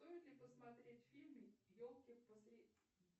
стоит ли посмотреть фильм елки